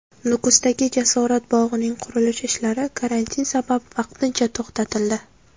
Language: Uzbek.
Nukusdagi Jasorat bog‘ining qurilish ishlari karantin sabab vaqtincha to‘xtatildi.